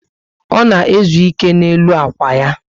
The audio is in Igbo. O na ezu ike n' elu ákwà ya